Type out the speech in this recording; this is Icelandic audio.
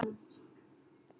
Tóti varð rjóður í framan.